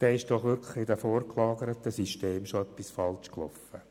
Dann ist doch schon in den vorgelagerten Systemen etwas falsch gelaufen.